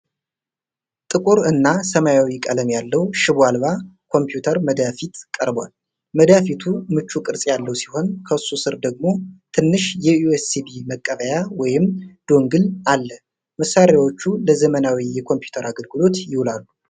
ጥቁር እና ሰማያዊ ቀለም ያለው ሽቦ አልባ ኮምፒውተር መዳፊት ቀርቧል። መዳፊቱ ምቹ ቅርፅ ያለው ሲሆን፣ ከሱ ስር ደግሞ ትንሽ የዩኤስቢ መቀበያ (ዶንግል) አለ። መሣሪያዎቹ ለዘመናዊ የኮምፒውተር አገልግሎት ይውላሉ።